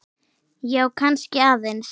Já, kannski aðeins.